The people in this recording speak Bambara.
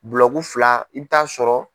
fila i bi t'a sɔrɔ.